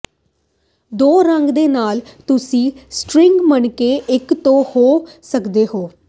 ਦੋ ਰੰਗਾਂ ਦੇ ਨਾਲ ਤੁਸੀਂ ਸਟ੍ਰਿੰਗ ਮਣਕੇ ਇੱਕ ਤੋਂ ਹੋ ਸਕਦੇ ਹੋ